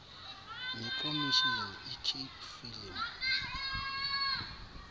nekomishini icape film